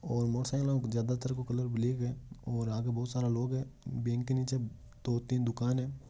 और motorcycle जयादा तर ब्लैक हैऔर यहा बहुत सारा लोग है बैंक के निचे दो तीन दुकान है।